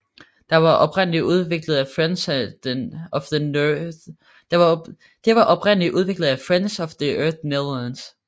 Det var oprindeligt udviklet af Friends of the Earth Netherlands